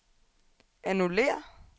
annullér